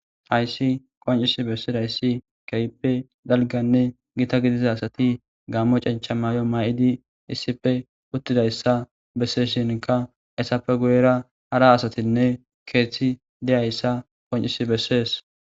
Hayisi qoncisi beidayisi kehippe daligganne gita gidida asati Gamo chenicha mayo mayidi issippe utidayisa besishinikka hesappe guyera hara asatinne keeththi dizayisa qonicisi beesesi